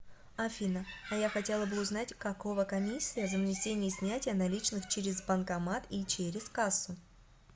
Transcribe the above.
афина а я хотела бы узнать какого комиссия за внесение и снятие наличных через банкомат и через кассу